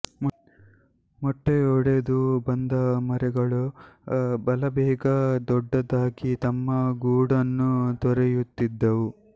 ಮೊಟ್ಟೆಯೊಡೆದು ಬಂದ ಮರಿಗಳು ಬಲು ಬೇಗ ದೊಡ್ಡದಾಗಿ ತಮ್ಮ ಗೂಡನ್ನು ತೊರೆಯುತ್ತಿದ್ದವು